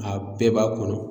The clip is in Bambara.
A bɛɛ b'a kɔnɔ.